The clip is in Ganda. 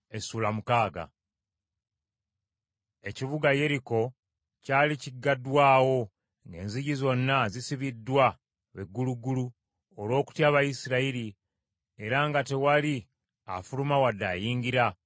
Ekibuga Yeriko kyali kigaddwawo ng’enzigi zonna zisibiddwa be gulugulu olw’okutya Abayisirayiri era nga tewali afuluma wadde ayingira.